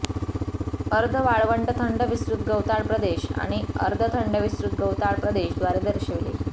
अर्ध वाळवंट थंड विस्तृत गवताळ प्रदेश आणि अर्ध थंड विस्तृत गवताळ प्रदेश द्वारे दर्शविले